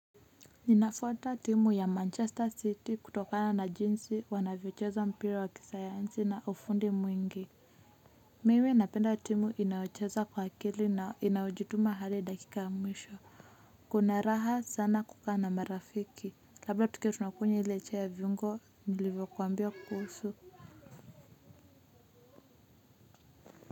Ninafuata timu ya manchester city kutokana na jinsi wanavyocheza mpira wa kisayansi na ufundi mwingi. Mimi napenda timu inayocheza kwa akili na inayojituma hadi dakika ya mwisho. Kuna raha sana kukaa na marafiki. Labda tukiwa tunakunywa ile chai ya viungo nilivyokuambia kuhusu.